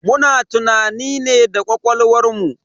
Muna tunani ne da ƙwaƙwalwar mu.